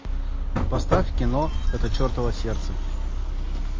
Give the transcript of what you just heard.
поставь кино это чертово сердце